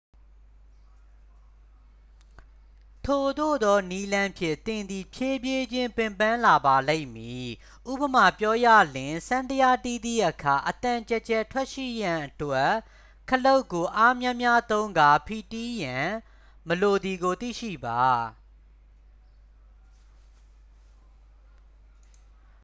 ထိုသို့သောနည်းလမ်းဖြင့် သင်သည် ဖြည်းဖြည်းချင်း ပင်ပန်းလာပါလိမ့်မည် ဉပမာပြောရလျှင် စန္ဒယားတီးသည့်အခါ အသံကျယ်ကျယ်ထွက်ရှိရန်အတွက် ခလုတ်ကိုအားများများသုံးကာ ဖိတီးရန် မလိုသည်ကို သိရှိပါ